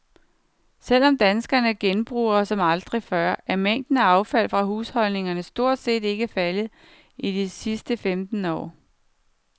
Selv om danskerne genbruger som aldrig før, er mængden af affald fra husholdningerne stort set ikke faldet i de sidste femten år.